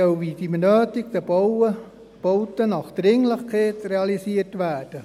Damit sollen die benötigten Bauten nach Dringlichkeit realisiert werden.